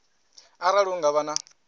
arali hu nga vha na